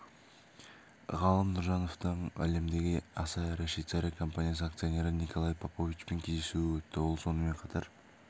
ғалым нұржановтың әлемдегі аса ірі швейцария компаниясы акционері николой поповичпен кездесуі өтті ол сонымен қатар